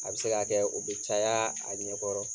A bɛ se ka kɛ o be caya a ɲɛkɔrɔ